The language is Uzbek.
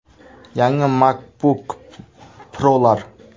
Yangi MacBook Pro‘lar.